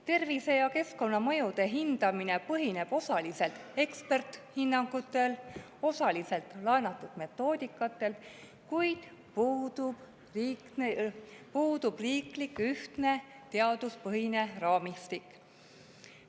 Tervise‑ ja keskkonnamõjude hindamine põhineb osaliselt eksperthinnangutel ja osaliselt laenatud metoodikatel, kuid puudub ühtne riiklik teaduspõhine raamistik.